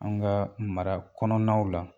An ga mara kɔnɔnaw la